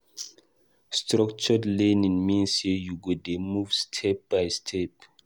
Structured learning mean sey you go dey move step by step.